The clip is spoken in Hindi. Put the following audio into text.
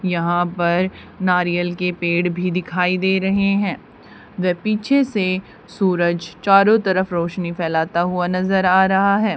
यहां पर नारियल के पेड़ भी दिखाई दे रहे हैं पीछे से सूरज चारो तरफ रोशनी फैलता हुआ नजर आ रहा है।